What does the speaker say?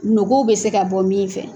Nogow bɛ se ka bɔ min fɛ.